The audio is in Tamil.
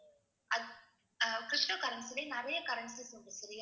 அது அஹ் ptocurrency லேயே நிறைய currencies உண்டு சரியா